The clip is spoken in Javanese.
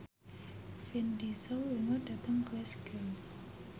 Vin Diesel lunga dhateng Glasgow